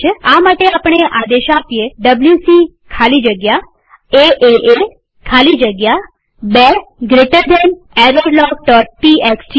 આ માટે આપણે આ આદેશ ડબ્લ્યુસી ખાલી જગ્યા એએ ખાલી જગ્યા 2 જમણા ખૂણાવાળો કૌંસ errorlogટીએક્સટી આપી શકીએ